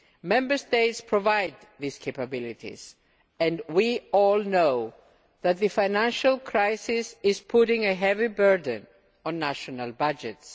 Member States provide these capabilities and we all know that the financial crisis is putting a heavy burden on national budgets.